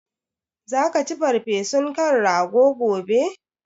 Zaka ci farfesun kan rago gobe?